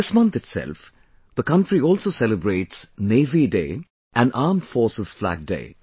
This month itself, the country also celebrates Navy Day and Armed Forces Flag Day